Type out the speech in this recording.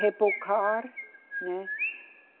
Rebocar, né?